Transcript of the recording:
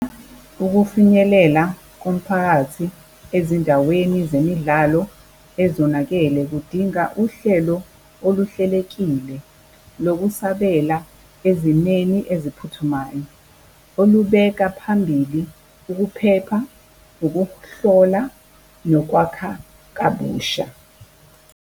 Ukufinyelela komphakathi ezindaweni zemidlalo ezonakele kudinga uhlelo oluhlelekile lokusabela ezimeni eziphuthumayo, olubeka phambili ukuphepha, ukuhlola, nokwakha kabusha.